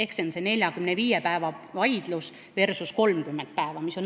See on see 45 päeva versus 30 päeva vaidlus.